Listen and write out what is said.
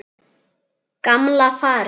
Gamla farið.